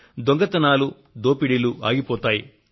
దొంగతనాలు దోపిడీలు ఆగిపోతాయి